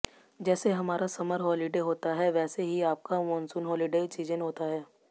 जैसे हमारा summer holiday होता है वैसे ही आपका मॉनसून हॉलिडे सीजन होता है